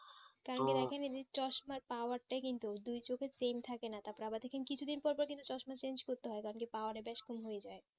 দেখেন চশমার power তা কিন্তু দুই চোখে same থাকে না তারপর আবা দেখেন কিছু দিন পর পর কিন্তু চশমা change করতে হয় কারণ কি power বেশি কম হয়ে যাই